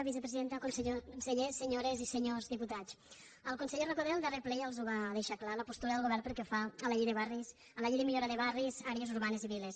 vicepresidenta conseller senyo·res i senyors diputats el conseller recoder al darrer ple ja els va deixar clara la postura del govern pel que fa a la llei de barris a la llei de millora de barris àrees urbanes i viles